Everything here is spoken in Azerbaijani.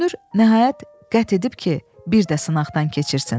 Görünür, nəhayət qət edib ki, bir də sınaqdan keçirsin.